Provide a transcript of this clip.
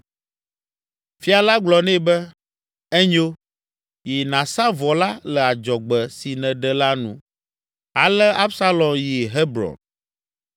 Fia la gblɔ nɛ be, “Enyo; yi nàsa vɔ la le adzɔgbe si nèɖe la nu.” Ale Absalom yi Hebron.